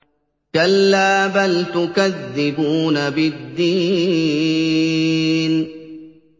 كَلَّا بَلْ تُكَذِّبُونَ بِالدِّينِ